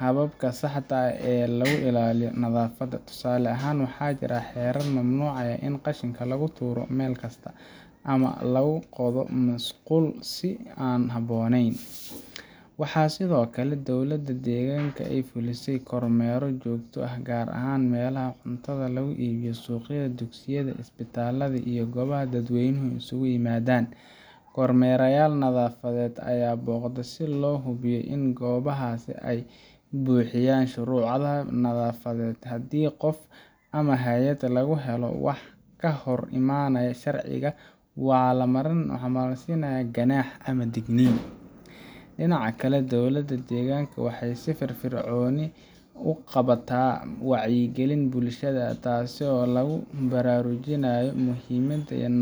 hababka saxda ah ee lagu ilaaliyo nadaafadda. Tusaale ahaan, waxaa jira xeerar mamnuucaya in qashinka lagu tuuro meel kasta, ama la qodo musqulo si aan habboonayn. Waxaa sidoo kale dowladda deegaanka ay fulisaa kormeerro joogto ah, gaar ahaan meelaha cuntada lagu iibiyo, suuqyada, dugsiyada, isbitaallada, iyo goobaha dadweynuhu isugu yimaadaan. Kormeerayaal nadaafadeed ayaa booqda si loo hubiyo in goobahaas ay buuxinayaan shuruudaha nadaafadeed. Haddii qof ama hay'ad lagu helo wax ka hor imanaya sharciga, waxaa la marsiiyaa ganaax ama digniin. Dhinaca kale, dowladda deegaanka waxay si firfircoon u qabataa wacyigelin bulshada ah, taasoo lagu baraarujinayo muhiimadda nadaafadda.